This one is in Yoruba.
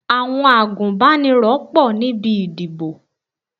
Àwọn agúnbánirọ̀ pọ̀ níbi ìdìbò.